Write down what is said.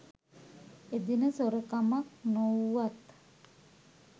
එදින සොරකමක් නොවූවත්